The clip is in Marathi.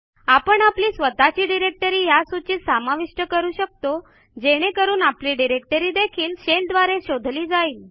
आपण आपली स्वतःची डिरेक्टरी या सूचीत समाविष्ट करू शकतो जेणे करून आपली डिरेक्टरी देखील शेल द्वारे शोधली जाईल